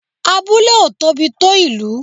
Abúlé ò tóbi tó Ìlú